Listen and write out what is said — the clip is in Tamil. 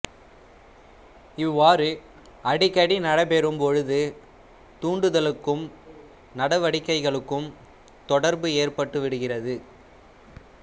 இவ்வாறு அடிக்கடி நடைபெறும் பொழுது தூண்டுதலுக்கும் நடவடிக்கைகளுக்கும் தொடா்பு எற்பட்டுவிடுகிறது